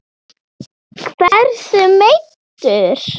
Hversu meiddur?